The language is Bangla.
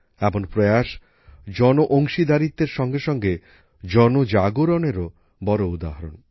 এমন প্রয়াস জনঅংশীদারিত্বের সঙ্গেসঙ্গে জনজাগরণেরও বড় উদাহরণ